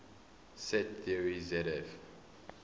set theory zf